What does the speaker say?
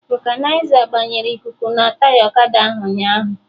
Vọkanịza gbanyere ikuku na taya ọkada ahụ ụnyaahụ